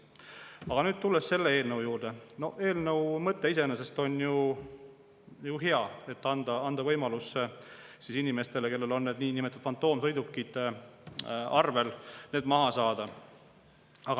Aga tulles selle eelnõu juurde, eelnõu mõte iseenesest on ju hea: anda võimalus inimestele, kellel on need niinimetatud fantoomsõidukid arvel, need maha saada.